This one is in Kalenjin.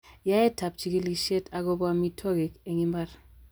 Yaetab chigilisiet agobo amitwogik en imbar.